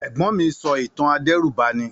Ègbón mi so ìtàn adẹ̀rúbani.